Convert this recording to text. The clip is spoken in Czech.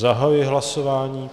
Zahajuji hlasování.